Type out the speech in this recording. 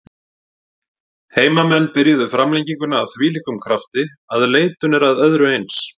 Heimamenn byrjuðu framlenginguna af þvílíkum krafti að leitun er að öðru eins.